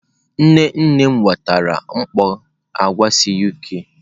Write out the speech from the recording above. Nne nne m wetara mkpọ agwa si UK.